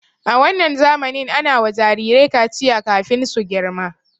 A wannan zamanin ana wa jirirai kaciya kafin su girma.